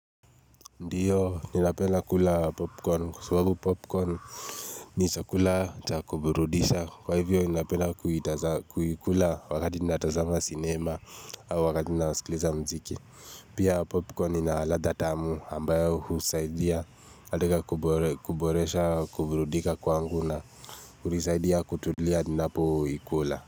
Ndiyo, ninapenda kula popcorn, kwa sababu popcorn ni chakula cha kuburudisha, kwa hivyo ninapenda kuikula wakati ninatazama sinema au wakati ninasikiliza mziki. Pia popcorn ina ladha tamu ambayo husaidia katika kuboresha, kuburudika kwangu na hunisaidia kutulia ninapo ikula.